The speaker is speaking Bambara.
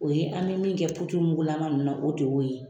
O ye an bɛ min kɛ puturumugulama ninnu na o de y'o ye